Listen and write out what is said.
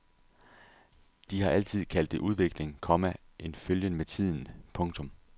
De har altid kaldt det udvikling, komma en følgen med tiden. punktum